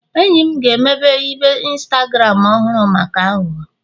enyi m ga-emepe ibe Instagram ọhụrụ maka aghụghọ